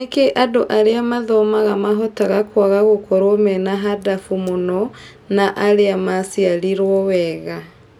Nĩkĩĩ andũ arĩa mathomaga mahotaga kũaga gũkorwo mena handabũ mũno na arĩa macĩarĩrwo wega